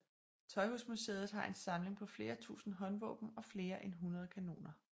Tøjhusmuseet har en samling på flere tusind håndvåben og flere end hundrede kanoner